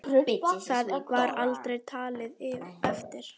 Það var aldrei talið eftir.